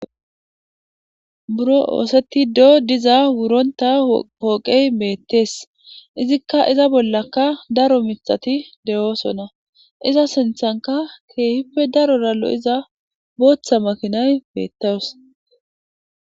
buro ooseti doo diza wuronta pooqey meettees izikka iza bollaka daro mixati de7oosonna iza sinthanka keehippe daro rallo iza booththa makinay meettawus